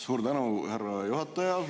Suur tänu, härra juhataja!